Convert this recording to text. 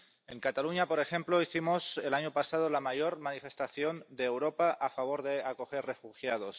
En Cataluña, por ejemplo, hicimos el año pasado la mayor manifestación de Europa a favor de acoger refugiados.